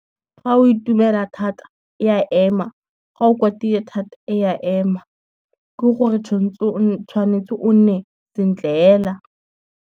Fa o itumela thata e a ema, ga o kwatile thata e a ema, ke gore tshwanetse o nne sentle fela.